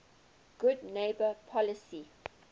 good neighbor policy